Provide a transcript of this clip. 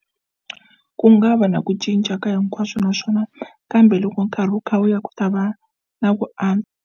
Ku nga va na ku cinca ka hinkwaswo naswona kambe loko nkarhi wu kha wu ya ku ta va na ku a.